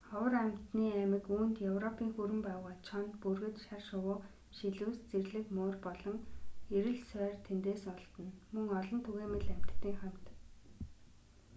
ховор амьтны аймаг үүнд европын хүрэн баавгай чоно бүргэд шар шувуу шилүүс зэрлэг муур болон эрэл сойр тэндээс олдоно мөн олон түгээмэл амьтадын хамт